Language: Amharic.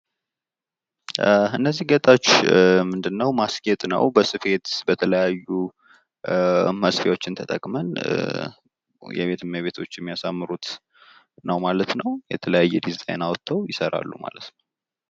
እነዚህ ጌጦችን በስፌት በተለያዩ መስፊያ ተጠቅመን የቤት እመቤቶች የሚያሳምሩት ነው ። የተለያዩ ዲዛይን አወጣው ይሠራሉ።